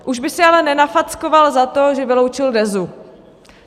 Už by si ale nenafackoval za to, že vyloučil DEZu.